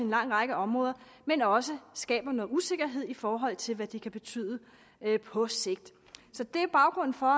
lang række områder men også skaber noget usikkerhed i forhold til hvad de kan betyde på sigt så det er baggrunden for